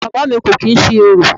Bàbá à mi kò kìí ṣe orò.